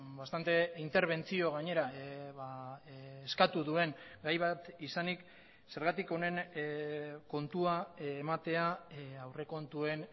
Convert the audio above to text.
bastante interbentzio gainera eskatu duen gai bat izanik zergatik honen kontua ematea aurrekontuen